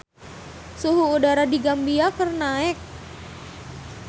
Suhu udara di Gambia keur naek